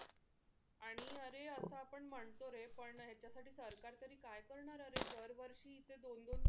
आणि अरे आत्ता आपण म्हणतो रे पण ह्याच्या साठी सरकार तरी काय करणार अरे दरवर्षी इथे दोन दोन तीन तीन,